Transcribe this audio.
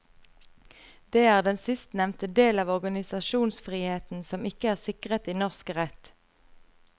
Det er den sistnevnte del av organisasjonsfriheten som ikke er sikret i norsk rett.